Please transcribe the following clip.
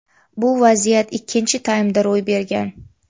Bu vaziyat ikkinchi taymda ro‘y bergan.